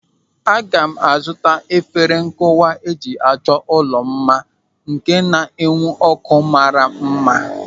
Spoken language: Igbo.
Aga m a zụta efere nkụwa eji achọ ụlọ mma nke nwere na-enwu ọ́kụ́ mmara mma.